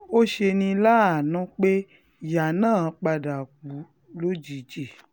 ṣùgbọ́n ó ṣe ní láàánú pé ìyá náà padà kú lójijì